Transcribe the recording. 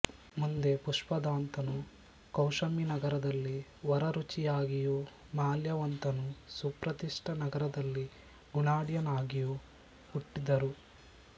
ಮುಂದೆ ಪುಷ್ಪದಂತನು ಕೌಶಾಂಬಿ ನಗರದಲ್ಲಿ ವರರುಚಿಯಾಗಿಯೂ ಮಾಲ್ಯವಂತನು ಸುಪ್ರತಿಷ್ಠ ನಗರದಲ್ಲಿ ಗುಣಾಢ್ಯನಾಗಿಯೂ ಹುಟ್ಟಿದರು